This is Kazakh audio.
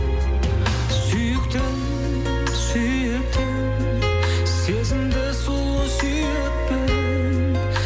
сүйіктім сүйіктім сезімді сұлу сүйіппін